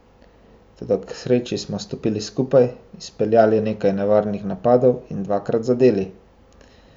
Toda k sreči smo stopili skupaj, izpeljali nekaj nevarnih napadov in dvakrat zadeli.